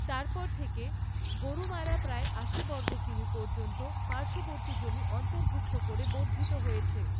তারপর থেকে, গোরুমারা প্রায় আশি বর্গ কিমি পর্যন্ত পার্শ্ববর্তী জমি অন্তর্ভুক্ত করে বর্ধিত হয়েছে।